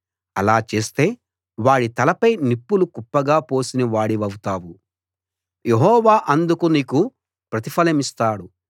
అలా చేస్తే వాడి తలపై నిప్పులు కుప్పగా పోసిన వాడివౌతావు యెహోవా అందుకు నీకు ప్రతిఫలమిస్తాడు